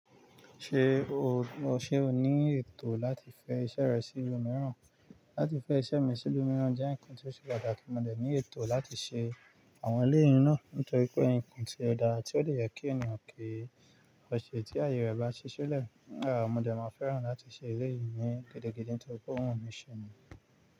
Ṣé o, ṣe o ní ètò láti fẹ iṣẹ́ rẹ sí ibi mìíràn? Láti fẹ iṣẹ́ mi sí ibi mìíràn jẹ́ ǹnkan tí ó ṣe pàtàkì, mo dẹ̀ ní ètò láti ṣe àwọn eléyìi náà nítorí pé ǹnkan tí ó dára tí ó de yẹ kí ènìyàn kí ọ sẹ tí ayé rẹ̀ bá ṣii si lẹ̀. Mo dẹ̀ máa fẹ́ràn láti ṣe eléyìí ni gidi gidi nítorí pé ò wu mi ṣẹ.